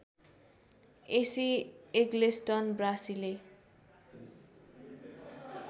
AC Eggleston ब्रासीले